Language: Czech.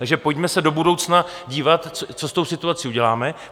Takže pojďme se do budoucna dívat, co s tou situací uděláme.